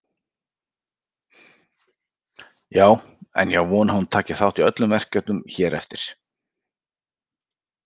Já en ég á von á að hún taki þátt í öllum verkefnum hér eftir.